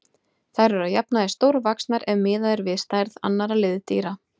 Þær eru að jafnaði stórvaxnar ef miðað er við stærð annarra liðdýra.